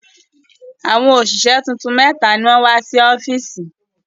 Àwọn òṣìṣẹ́ tuntun mẹ́ta ni wọ́n wá sí ọ́fíìsì.